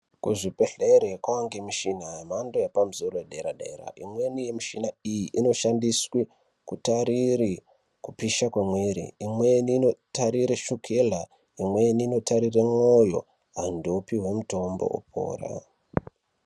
Kuzvibhedhlere kwawa ngemishina yemhando yepamusoro-soro yedera -dera. Imweni yemishina iyi inoshandiswe kutarire kupisha kwemuiri, imweni inotarire shukela, imweni inotarire mwoyo ,antu opihwe mitombo opora.